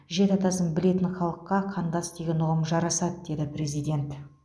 жеті атасын білетін халыққа қандас деген ұғым жарасады деді президент